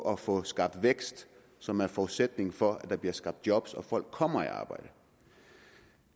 at få skabt vækst som er forudsætningen for at der bliver skabt job og folk kommer i arbejde